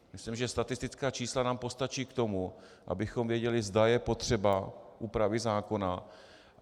Myslím, že statistická čísla nám postačí k tomu, abychom věděli, zda je potřeba úpravy zákona.